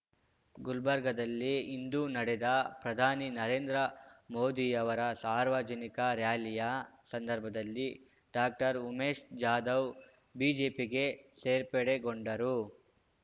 ಗುಲ್ಬರ್ಗಾದಲ್ಲಿ ಇಂದು ನಡೆದ ಪ್ರಧಾನಿ ನರೇಂದ್ರ ಮೋದಿಯವರ ಸಾರ್ವಜನಿಕ ಱ್ಯಾಲಿಯ ಸಂದರ್ಭದಲ್ಲಿ ಡಾಕ್ಟರ್ ಉಮೇಶ್ ಜಾಧವ್ ಬಿಜೆಪಿಗೆ ಸೇರ್ಪಡೆಗೊಂಡರು